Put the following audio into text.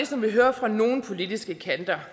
som vi hører fra nogle politiske kanter